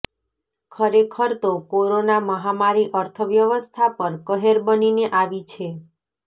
ખરેખર તો કોરોના મહામારી અર્થવ્યવસ્થા પર કહેર બનીને આવી છે